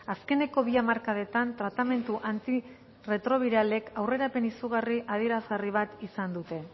azkeneko bi hamarkadetan tratamendu antirretrobiralek aurrerapen izugarri adierazgarri bat izan dute